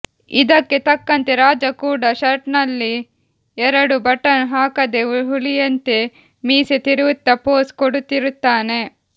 ಇದಕ್ಕೆ ತಕ್ಕಂತೆ ರಾಜ ಕೂಡ ಶರ್ಟಲ್ಲಿ ಎರಡು ಬಟನ್ ಹಾಕದೆ ಹುಲಿಯಂತೆ ಮೀಸೆ ತಿರುವುತ್ತಾ ಪೋಸು ಕೊಡುತ್ತಿರುತ್ತಾನೆ